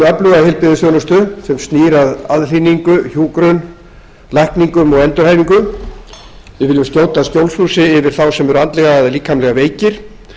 öfluga heilbrigðisþjónustu sem snýr að aðhlynningu hjúkrun lækningum og endurhæfingu við viljum skjóta skjólshúsi yfir þá sem eru andlega eða líkamlega veikir